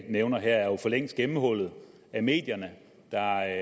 nævner her er jo for længst blevet gennemhullet af medierne der